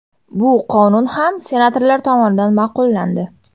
Bu qonun ham senatorlar tomonidan ma’qullandi.